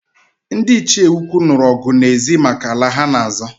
Ndị Ichie ukwu nụrụ ọgụ na ezi maka ala ha-na azọ